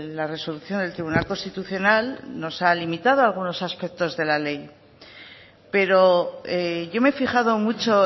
la resolución del tribunal constitucional nos ha limitado algunos aspectos de la ley pero yo me he fijado mucho